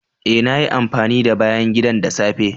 Eh, nayi amfani da bayan gidan da safe.